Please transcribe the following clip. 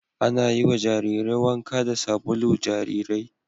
Ana yiwa jarirai wanka da sabulu jarirai